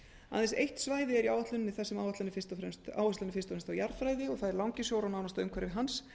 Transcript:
aðeins eitt svæði er í áætluninni þar sem áherslan er fyrst og fremst á jarðfræði langisjór og nánasta umhverfi hans